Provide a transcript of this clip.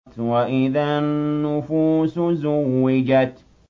وَإِذَا النُّفُوسُ زُوِّجَتْ